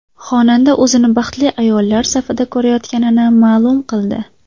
Xonanda o‘zini baxtli ayollar safida ko‘rayotganini ma’lum qildi.